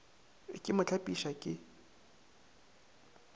ke mo hlapiša ke mo